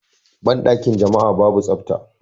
Banɗakin jama'a babu tsafta.